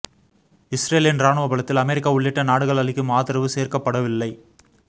இஸ்ரேலின் ராணுவ பலத்தில் அமெரிக்கா உள்ளிட்ட நாடுகள் அளிக்கும் ஆதரவு சேர்க்கப்படவில்லை